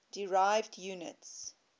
derived units